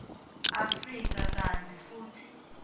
afrika kantsi futsi